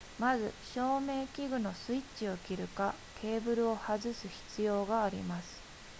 まず照明器具のスイッチを切るかケーブルを外す必要があります